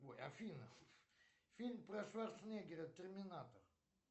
ой афина фильм про шварценеггера терминатор